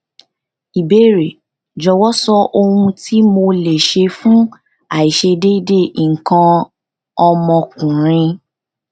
ìbéèrè jọwọ sọ ohun tí mo lè ṣe fún aiṣedeede ikan om okunrin